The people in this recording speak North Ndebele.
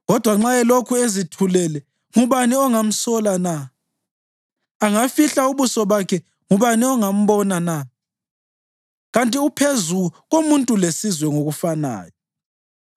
Kodwa nxa elokhu ezithulele, ngubani ongamsola na? Angafihla ubuso bakhe ngubani ongambona na? Kanti uphezu komuntu lesizwe ngokufanayo,